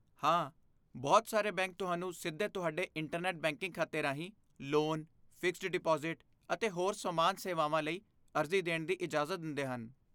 ਹਾਂ, ਬਹੁਤ ਸਾਰੇ ਬੈਂਕ ਤੁਹਾਨੂੰ ਸਿੱਧੇ ਤੁਹਾਡੇ ਇੰਟਰਨੈਟ ਬੈਂਕਿੰਗ ਖਾਤੇ ਰਾਹੀਂ ਲੋਨ, ਫਿਕਸਡ ਡਿਪਾਜ਼ਿਟ, ਅਤੇ ਹੋਰ ਸਮਾਨ ਸੇਵਾਵਾਂ ਲਈ ਅਰਜ਼ੀ ਦੇਣ ਦੀ ਇਜਾਜ਼ਤ ਦਿੰਦੇ ਹਨ।